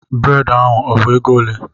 Brèd ahụ ọ bụ ego ole?